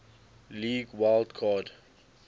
league wild card